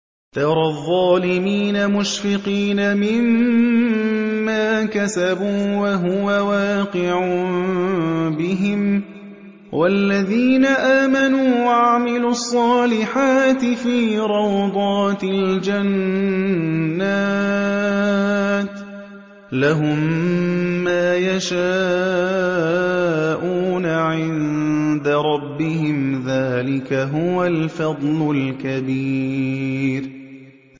تَرَى الظَّالِمِينَ مُشْفِقِينَ مِمَّا كَسَبُوا وَهُوَ وَاقِعٌ بِهِمْ ۗ وَالَّذِينَ آمَنُوا وَعَمِلُوا الصَّالِحَاتِ فِي رَوْضَاتِ الْجَنَّاتِ ۖ لَهُم مَّا يَشَاءُونَ عِندَ رَبِّهِمْ ۚ ذَٰلِكَ هُوَ الْفَضْلُ الْكَبِيرُ